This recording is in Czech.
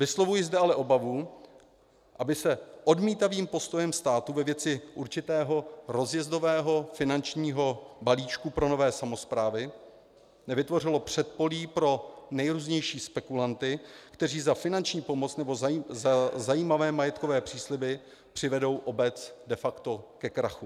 Vyslovuji zde ale obavu, aby se odmítavým postojem státu ve věci určitého rozjezdového finančního balíčku pro nové samosprávy nevytvořilo předpolí pro nejrůznější spekulanty, kteří za finanční pomoc nebo za zajímavé majetkové přísliby přivedou obec de facto ke krachu.